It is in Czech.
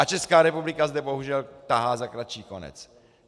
A Česká republika zde bohužel tahá za kratší konec.